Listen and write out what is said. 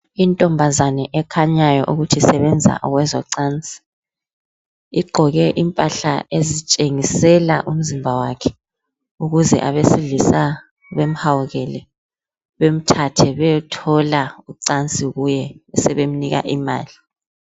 Intombazana ekhanyayo ukuthi isebenza kwezocansi igqoke impahla ezitshengisela umzimba wakhe, ukuze abesilisa bamhawukele bamthathe bayathola ucansi kuye besebemnika imali.